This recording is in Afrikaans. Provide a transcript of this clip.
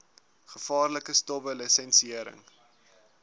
gevaarlike stowwe lisensiëring